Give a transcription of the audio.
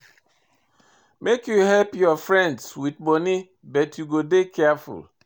Make you help your friend wit moni but you go dey careful.